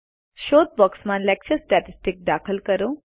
શોધ બોક્સમાં lecture statistics દાખલ કરો